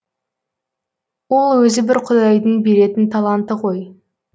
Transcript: ол өзі бір құдайдың беретін таланты ғой